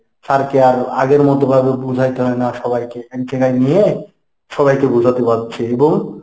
sir কে আর আগের মত ভাবে বুঝাইতে হয় না সবাইকে এক জায়গায় নিয়ে সবাইকে বুঝাতে পারচ্ছে এবং ,